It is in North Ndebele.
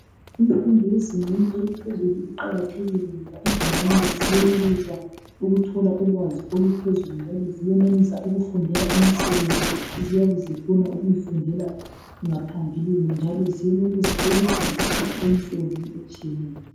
Imfundo eyezingeni eliphezulu iqakathekile ngoba izingane ziyenelisa ukuthola ulwazi oluphezulu njalo ziyenelisa ukufundela imisebenzi eziyabe zifuna ukuyifundela ngaphambilini njalo ziyenelisa ukuthi ziqhatshwe imisebenzini etshiyeneyo.